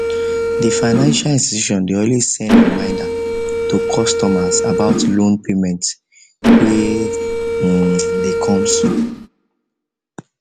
the financial institution dey always send reminder to customers about loan payment wey dey come soon